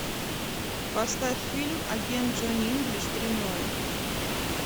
поставь фильм агент джонни инглиш три ноль